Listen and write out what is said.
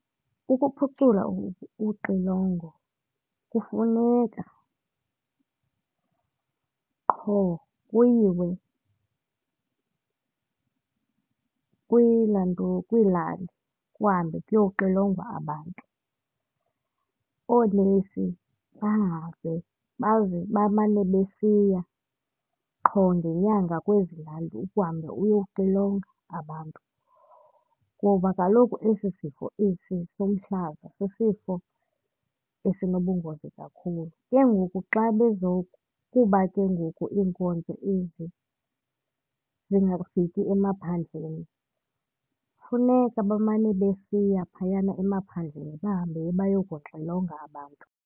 Ukuphucula uxilongo kufuneka qho kuyiwe kwiilantuka kwiilali kuhambe kuyoxilongwa abantu. Oonesi bahambe baze bamane besiya qho ngenyanga kwezi lali ukuhamba uyoxilonga abantu kuba kaloku esi sifo, esi somhlaza sisifo esinobungozi kakhulu. Ke ngoku xa kuba ke ngoku iinkonzo ezi zingafiki emaphandleni, funeka bamane besiya phayana emaphandleni bahambe bayokuxilonga abantu.